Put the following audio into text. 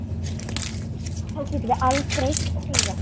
Þá getum við aldrei sigrað þá.